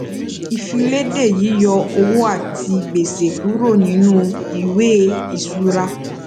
ìfilède yíyọ owó àti gbèsè kúrò nínú ìwé ìṣura